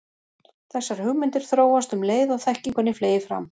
Þessar hugmyndir þróast um leið og þekkingunni fleygir fram.